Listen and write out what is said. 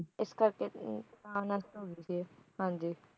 ਇਸ ਕਰਕੇ ਤਾਂ ਨਸ਼ਟ ਹੋ ਗਈ ਸੀ ਇਹ ਹਾਂ ਜੀ